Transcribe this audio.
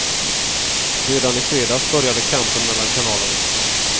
Redan i fredags började kampen mellan kanalerna.